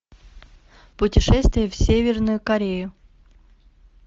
путешествие в северную корею